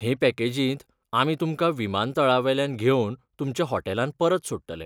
हे पॅकेजींत आमी तुमकां विमानतळावेल्यान घेवन तुमच्या हॉटेलांत परत सोडटले.